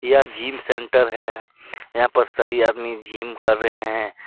यह gym centre है यहां पर सभी आदमी जिम कर रहे हैं।